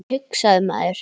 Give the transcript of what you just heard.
hugsaði maður.